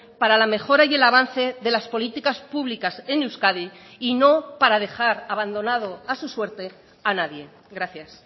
para la mejora y el avance de las políticas públicas en euskadi y no para dejar abandonado a su suerte a nadie gracias